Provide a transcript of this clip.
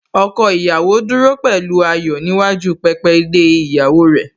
Ọkọ ìyàwó dúró pẹ̀lú ayọ̀ níwájú pẹpẹ de ìyàwó rẹ̀